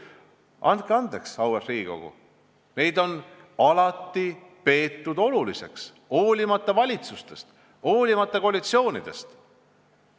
Andke andeks, auväärt Riigikogu, neid on alati peetud oluliseks, hoolimata valitsustest, hoolimata koalitsioonidest.